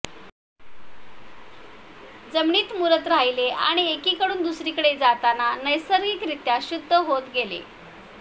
जमिनीत मुरत राहिले आणि एकीकडून दुसरीकडे जाताना नैसर्गिकरित्या शुद्ध होत गेले